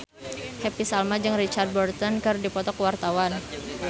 Happy Salma jeung Richard Burton keur dipoto ku wartawan